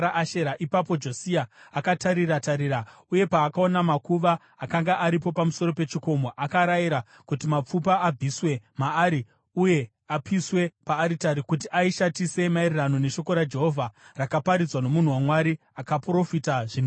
Ipapo Josia akatarira-tarira uye paakaona makuva akanga aripo pamusoro pechikomo, akarayira kuti mapfupa abviswe maari uye apiswe paaritari kuti aishatise, maererano neshoko raJehovha rakaparidzwa nomunhu waMwari akaprofita zvinhu izvi.